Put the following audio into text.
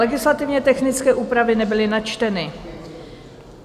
Legislativně technické úpravy nebyly načteny.